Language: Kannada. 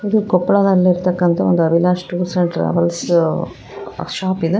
ಇದು ಕೊಪ್ಪಳದಲ್ಲಿರ್ತಕ್ಕಂತ ಒಂದು Avinash tours and travels shop ಇದೆ.